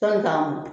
Sɔn ka mɔn